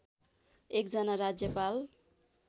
एक जना राज्यपाल